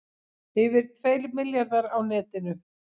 Yfir tveir milljarðar á netinu